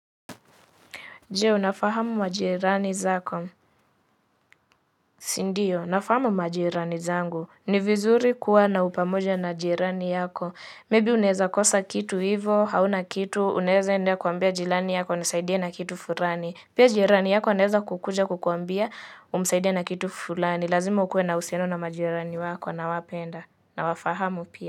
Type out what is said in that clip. Je, unafahamu majirani zako? Sindio, nafahamu majirani zangu. Ni vizuri kuwa na upamoja na jirani yako. Labda unaweza kosa kitu hivo, hauna kitu, unawezaenda kuambia jirani yako, nisaidie na kitu fulani. Pia jirani yako anaweza kukuja kukuambia, umsaidie na kitu fulani. Lazima ukuwe na uhusiano na majirani wako na kuwapenda. Na wafahamu pia.